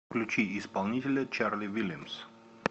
включи исполнителя чарли вильямс